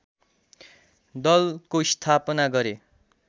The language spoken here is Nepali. दलको स्थापना गरे